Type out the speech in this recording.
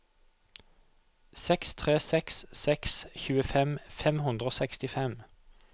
seks tre seks seks tjuefem fem hundre og sekstifem